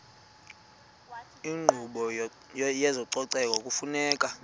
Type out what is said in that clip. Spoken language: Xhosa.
inkqubo yezococeko kufuneka